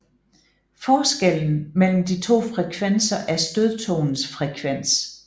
Forskellen mellem de to frekvenser er stødtonens frekvens